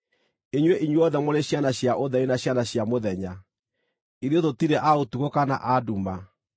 Inyuĩ inyuothe mũrĩ ciana cia ũtheri na ciana cia mũthenya. Ithuĩ tũtirĩ a ũtukũ kana a nduma.